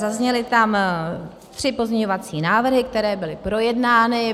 Zazněly tam tři pozměňovací návrhy, které byly projednány.